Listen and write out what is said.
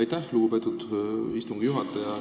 Aitäh, lugupeetud istungi juhataja!